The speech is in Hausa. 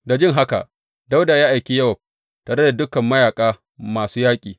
Da jin haka, Dawuda ya aiki Yowab tare da dukan mayaƙa masu yaƙi.